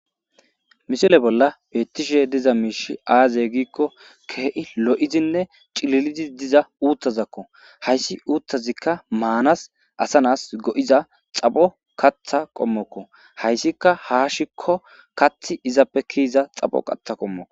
Missle bolla beettishe diza miishshi aaze gizayssa giikko keehi lo7idinne cililidi diza uuthakko. Hayssi uuthazikka lmaanas asa na7as go7iza xapho kaththa qommokko.